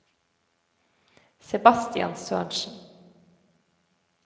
Sebastian Sørensen